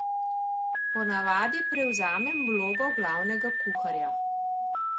Ponavadi prevzamem vlogo glavnega kuharja.